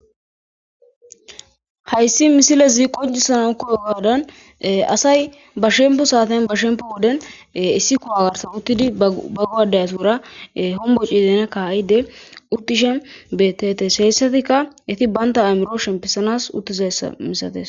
hayssi misile ziqojisanan koyo gaadan asay ba shempo saaten ba shempo woden issi kuwagarsan uttidi bago7adayatuwura homboci zeena ka7ide uttishen bettes heyssatikka iti banta amiro shempisanas uttizayssa misates